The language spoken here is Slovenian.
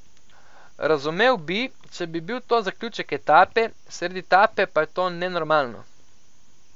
Razumel bi, če bi bil to zaključek etape, sredi etape pa je to nenormalno.